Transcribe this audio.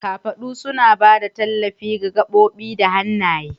Kafaɗu suna ba da tallafi ga gaɓoɓi da hannaye.